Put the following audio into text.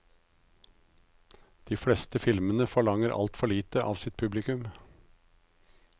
De fleste filmene forlanger alt for lite av sitt publikum.